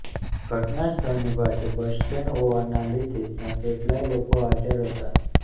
ઘટનાસ્થળની પાસે bus stand હોવાના લીધે ત્યાં કેટલાંય લોકો હાજર હતા